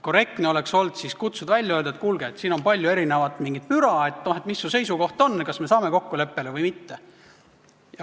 Korrektne oleks olnud kutsuda ta välja, öelda, et siin on palju müra, et mis su seisukoht on, kas me saame kokkuleppele või mitte.